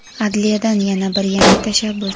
Adliyadan yana bir yangi tashabbus.